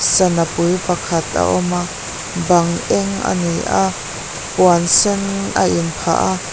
sana pui pakhat a awm a bang eng a ni a puan sen a inphah a.